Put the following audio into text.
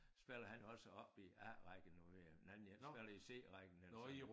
Spiller han jo også oppe i A rækken nu i den anden jeg spiller i C rækken ellers så